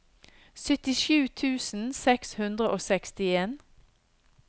syttisju tusen seks hundre og sekstien